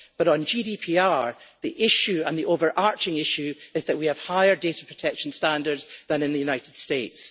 But on GDPR, the overarching issue is that we have higher data protection standards than in the United States.